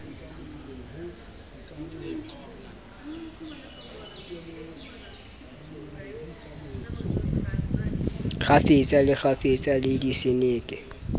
kgafetsa le kgafetsa le diseneke